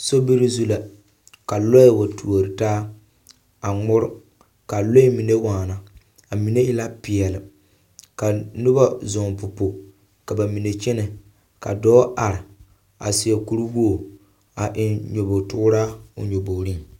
Sobiri zu la ka, ka lɔre wa turi taa a ŋmore ka a lɔɛ mine waa, a mine e la peɛle. Ka noba zɔŋ popo ka ba mine kyɛnɛ. Ka dɔɔ a seɛ kuri wogi a eŋ nyebogitooraa.